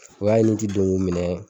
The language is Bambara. O y'a ye ni n ti don k'o minɛ.